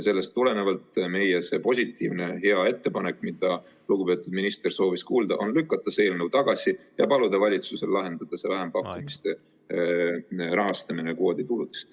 Sellest tulenevalt meie positiivne hea ettepanek, mida lugupeetud minister soovis kuulda, on: lükata see eelnõu tagasi ja paluda valitsusel lahendada see vähempakkumiste rahastamine kvoodituludest.